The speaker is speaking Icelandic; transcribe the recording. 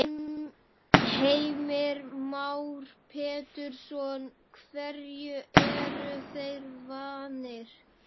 Heimir Már Pétursson: Hverju eru þeir vanir?